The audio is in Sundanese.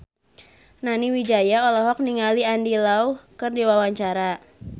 Nani Wijaya olohok ningali Andy Lau keur diwawancara